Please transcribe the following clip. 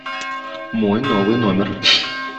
мой новый номер